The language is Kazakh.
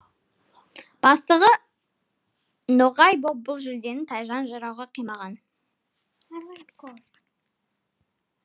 бастығы ноғай боп бұл жүлдені тайжан жырауға қимаған